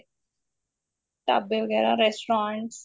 ਢਾਬੇ ਵਗੈਰਾ restaurants